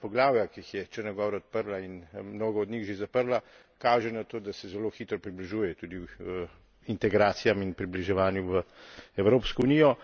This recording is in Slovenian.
vsa ta poglavja, ki jih je Črna gora odprla in mnogo od njih že zaprla, kaže na to, da se zelo hitro približuje tudi integracijam in približevanju v Evropsko unijo.